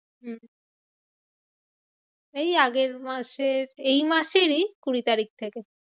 হম এই আগের মাসের এই মাসেরই কুড়ি তারিখ থেকে।